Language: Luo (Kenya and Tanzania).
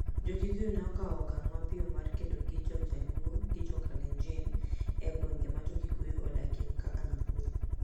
Jo-Kikuyu ne okawo okang' mapiyo mar kedo gi Jo-Jaluo gi Jo-Kalenjin e gwenge ma Jo-Kikuyu odakie kaka Nakuru